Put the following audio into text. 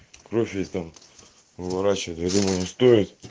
профиль там выращивали я думаю не стоит